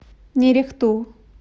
нерехту